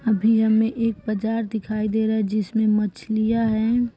अभी हमें एक बाजार दिखाई दे रहा है जिसमें मछलिया हैं।